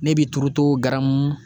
Ne bi turuto garamu